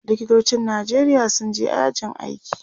likitocin Nijeria sun je yajin aiki